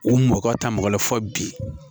U mɔkɔ ta mɔgɔ wɛrɛ fɔ bi